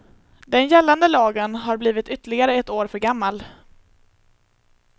Den gällande lagen har blivit ytterligare ett år för gammal.